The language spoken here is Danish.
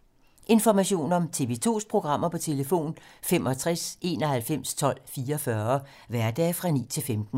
Information om TV 2's programmer: 65 91 12 44, hverdage 9-15.